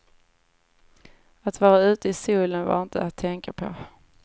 Att vara ute i solen var inte att tänka på.